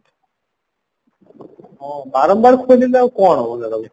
ହଁ ବାରମ୍ବାର ଖୋଲିଲେ ଆଉ କଣ ହବ